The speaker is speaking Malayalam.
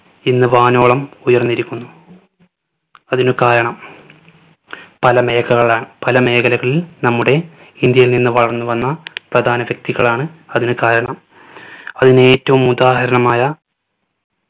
ഇന്ന് വാനോളം ഉയർന്നിരിക്കുന്നു. അതിനു കാരണം പല മേഖകളാ പല മേഖലകളിൽ നമ്മുടെ ഇന്ത്യയിൽ നിന്നു വളർന്നു വന്ന പ്രധാന വ്യക്തികളാണ് അതിന് കാരണം. അതിന് ഏറ്റവും ഉദാഹരണമായ